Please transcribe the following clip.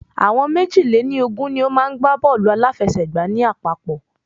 Àwọn méjì lè ní Ogún ni o maá n gbá bọ́ọ̀lù aláfiẹ̀sẹ́gba ní àpapọ̀